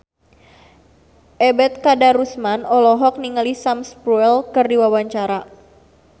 Ebet Kadarusman olohok ningali Sam Spruell keur diwawancara